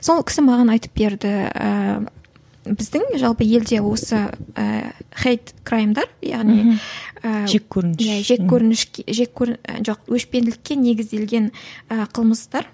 сол кісі маған айтып берді ііі біздің жалпы елде осы ііі хейт краймдар яғни мхм ііі жеккөрініш жеккөрініш жоқ өшпенділікке негізделген ііі қылмыстар